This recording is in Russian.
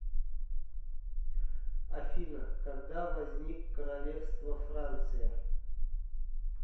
афина когда возник королевство франция